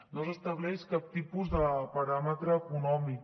no s’estableix cap tipus de paràmetre econòmic